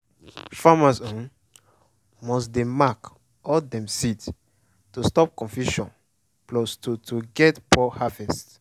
farmers must dey mark all dem seed to stop confusion plus to to get poor harvest.